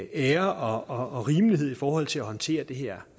ære og rimelighed i forhold til at håndtere det her